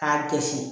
K'a kɛsi